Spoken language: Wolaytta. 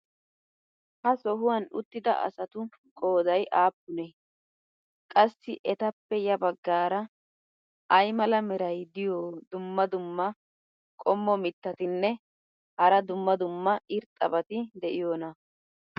ha sohuwan uttida asatu qooday aappunee? qassi etappe ya bagaara ay mala meray diyo dumma dumma qommo mitattinne hara dumma dumma irxxabati de'iyoonaa?